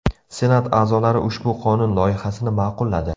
Senat a’zolari ushbu qonun loyihasini ma’qulladi.